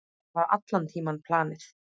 Það var allan tímann planið.